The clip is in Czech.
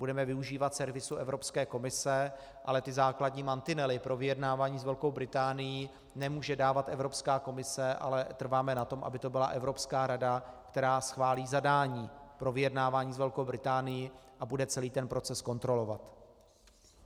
Budeme využívat servisu Evropské komise, ale ty základní mantinely pro vyjednávání s Velkou Británií nemůže dávat Evropská komise, ale trváme na tom, aby to byla Evropská rada, která schválí zadání pro vyjednávání s Velkou Británií a bude celý ten proces kontrolovat.